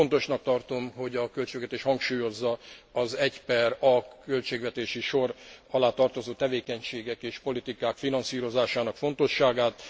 Fontosnak tartom, hogy a költségvetés hangsúlyozza az 1 A költségvetési sor alá tartozó tevékenységek és politikák finanszírozásának fontosságát.